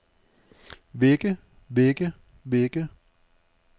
vække vække vække